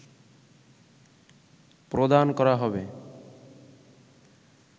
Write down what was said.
প্রদান করা হবে